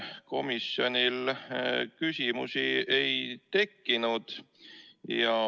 Komisjonis küsimusi ei tekkinud.